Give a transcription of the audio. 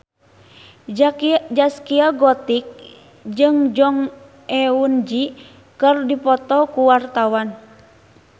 Zaskia Gotik jeung Jong Eun Ji keur dipoto ku wartawan